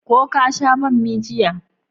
Ko ka sha bommi jiya?